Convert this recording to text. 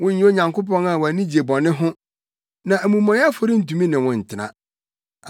Wonyɛ Onyankopɔn a wʼani gye bɔne ho; na amumɔyɛfo rentumi ne wo ntena.